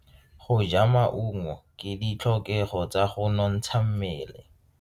Go ja maungo ke ditlhokego tsa go nontsha mmele.